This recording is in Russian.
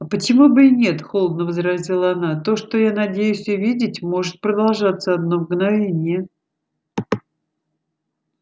а почему бы и нет холодно возразила она то что я надеюсь увидеть может продолжаться одно мгновение